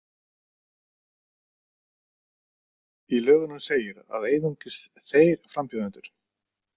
Í lögunum segir að einungis þeir frambjóðendur.